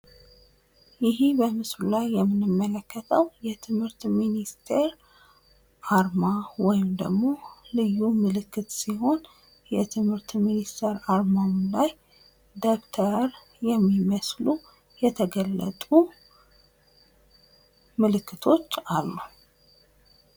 ይሄ በምስሉ ላይ የምንመለከተዉ የትምህርት ሚኒስቴር አርማ ወይም ደግሞ ልዩ ምልክት ሲሆን የትምህርት ሚኒስቴር አርማዉ ላይ ደብተር የሚመስል የተገለጡ አሉ።